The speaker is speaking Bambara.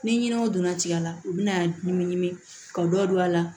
Ni ɲinɛw donna tigɛ la u bi na ɲimiɲimi ka dɔ don a la